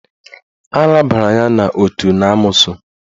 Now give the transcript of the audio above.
Arabara ya n'otu n'amoosu